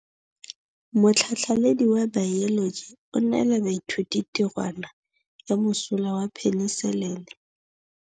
Motlhatlhaledi wa baeloji o neela baithuti tirwana ya mosola wa peniselene.